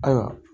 Ayiwa